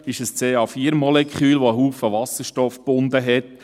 es ist ein CH4-Molekül, das viel Wasserstoff gebunden hat.